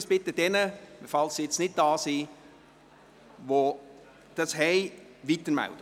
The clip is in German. Ich bitte Sie, dies denjenigen, die jetzt nicht hier sind, weiterzumelden.